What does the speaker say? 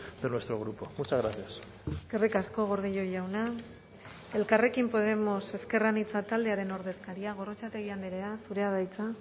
de nuestro grupo muchas gracias eskerrik asko gordillo jauna elkarrekin podemos ezker anitza taldearen ordezkaria gorrotxategi andrea zurea da hitza